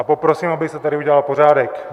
A poprosím, aby se tady udělal pořádek.